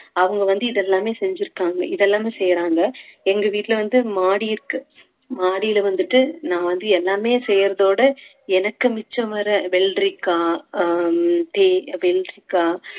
அவங்க வந்து இது எல்லாமே செஞ்சிருக்காங்க இது எல்லாமே செய்யறாங்க எங்க வீட்டுல வந்து மாடி இருக்கு மாடியில வந்துட்டு நான் வந்து எல்லாமே செய்யறதோட எனக்கு மிச்சம் வர வெள்ளரிக்காய் அஹ் வெள்ளரிக்கா